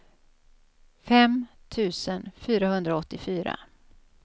fem tusen fyrahundraåttiofyra